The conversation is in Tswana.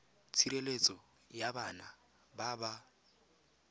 tshireletso ya bana ba ba